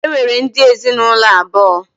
E nwere ụdị ezinụlọ abụọ.